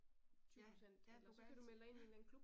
Ja, ja du kan altid ja